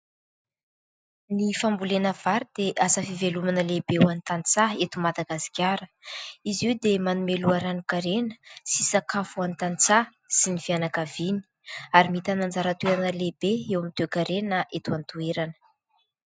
Ny fambolena vary dia asa fivelomana lehibe ho an'ny tantsaha eto Madagasikara. Izy io dia manome loharanon-karena sy sakafo ho an'ny tantsaha sy ny fianakaviany ary mitana anjara toerana lehibe eo amin'ny toe-karena eto an-toerana.